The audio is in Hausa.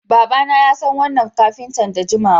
Babana yasan wannan kafinta da jimawa